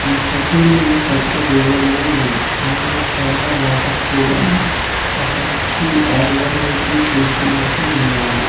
ఈ ఫొటో లోని పెద్ద రివర్ లా ఉంది అందులో చాలా వాటర్ కూడా ఉంది ఒక వ్యక్తి ఆ రివర్ వైపే చూస్తున్నట్టు ఉన్నాడు.